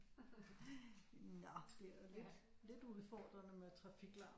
Nå det er da lidt lidt udfordrende med trafiklarmen